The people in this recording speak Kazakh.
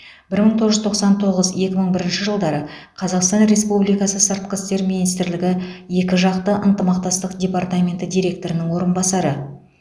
бір мың тоғыз жүз тоқсан тоғыз екі мың бірінші жылдары қазақстан республикасы сыртқы істер министрлігі екіжақты ынтымақтастық департаменті директорының орынбасары